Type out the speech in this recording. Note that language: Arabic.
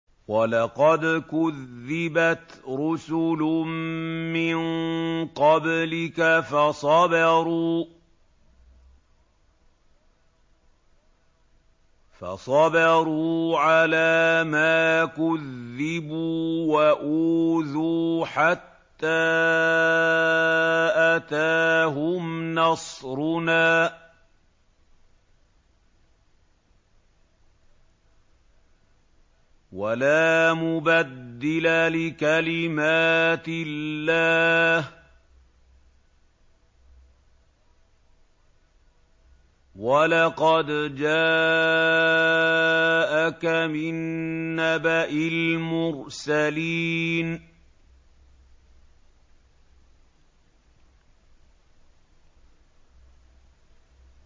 وَلَقَدْ كُذِّبَتْ رُسُلٌ مِّن قَبْلِكَ فَصَبَرُوا عَلَىٰ مَا كُذِّبُوا وَأُوذُوا حَتَّىٰ أَتَاهُمْ نَصْرُنَا ۚ وَلَا مُبَدِّلَ لِكَلِمَاتِ اللَّهِ ۚ وَلَقَدْ جَاءَكَ مِن نَّبَإِ الْمُرْسَلِينَ